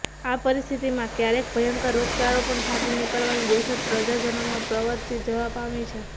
આ પરિસ્થિતિમાં ક્યારેક ભયંકર રોગચાળો પણ ફાટી નિકળવાની દહેશત પ્રજાજનોમાં પ્રવર્તી જવા પામી છે